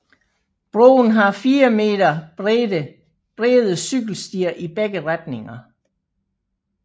Broen har 4 meter bredde cykelstier i begge retninger